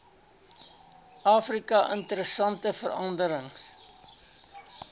afrika interessante veranderings